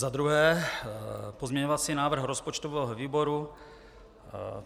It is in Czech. Za druhé - pozměňovací návrh rozpočtového výboru.